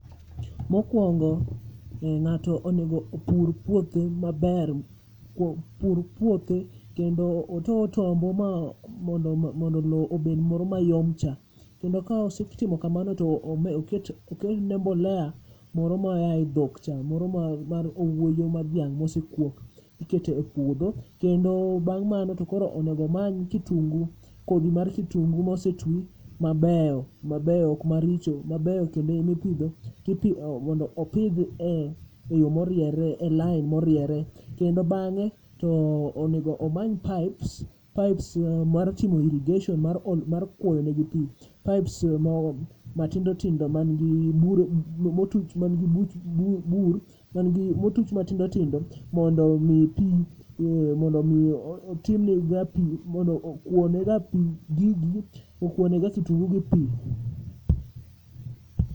Mokwongo, ng'ato onego opur puothe maber kuo pur puothe kendo oto otombo mondo lo obed moro mayom cha. Kendo ka osetimo kamano to oketne mbolea moro ma oa e dhok cha, moro ma mar owuoyo mar dhiang' mosekuok, iketo e puodho. Kendo bang' mano to koro onegomany kitungu, kodhi mar kitungu mosetwi mabeyo, mabeyo ok maricho. Mabeyo kendo emipidho tipi, mondo opidh e e yo moriere e lain moriere. Kendo bang'e, to onego omany pipes, pipes mar timo irrigation mar olo mar kwoyo ne gi pi. Pipes mo matindo tindo man gi bur, motuch man gi buch bur motuch matindo tindo mondo mi pi, mondo mi otimne ga pi, mondo okwo ne ga pi gigi, okwonega kitungu gi pi.